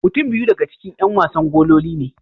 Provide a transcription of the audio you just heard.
Mutum biyu daga ciki 'yan wasa gololi ne.